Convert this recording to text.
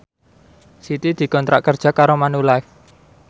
Siti dikontrak kerja karo Manulife